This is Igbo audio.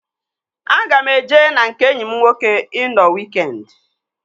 Aga m eje na nke enyi m nwoke ị nọ wiikendi